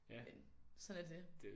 Men sådan er det